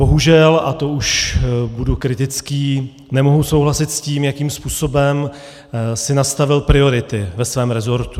Bohužel, a to už budu kritický, nemohu souhlasit s tím, jakým způsobem si nastavil priority ve svém resortu.